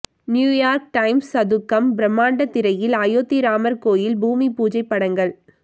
New York Times சதுக்கம் பிரம்மாண்ட திரையில் அயோத்தி ராமர் கோவில் பூமி பூஜை படங்கள்